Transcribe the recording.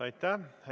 Aitäh!